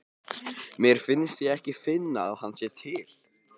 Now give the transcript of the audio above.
Mér finnst ég ekki finna að hann sé til.